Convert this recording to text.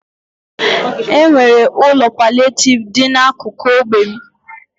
E nwere ụlọ palịetivu dị n'akụkụ ógbè m.